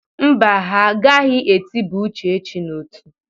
Mba, agaghị etiba Uchechi n'ọtú.